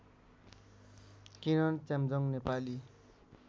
Kiran Chemjong Nepali